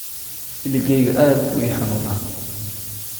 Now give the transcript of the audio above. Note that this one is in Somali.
Ilikeygu aad buu ii xanuunaa.